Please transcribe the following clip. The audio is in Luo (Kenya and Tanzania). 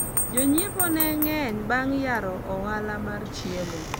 jonyiepo ne ng'eny bang' yaro ohala mar chiemo